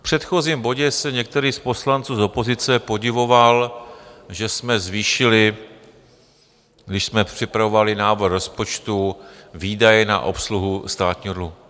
V předchozím bodě se některý z poslanců z opozice podivoval, že jsme zvýšili, když jsme připravovali návrh rozpočtu, výdaje na obsluhu státního dluhu.